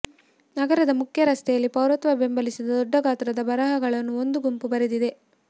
ನಗರದ ಮುಖ್ಯ ರಸ್ತೆಯಲ್ಲಿ ಪೌರತ್ವ ಬೆಂಬಲಿಸಿದ ದೊಡ್ಡ ಗಾತ್ರದ ಬರಹಗಳನ್ನು ಒಂದು ಗುಂಪು ಬರೆದಿದೆ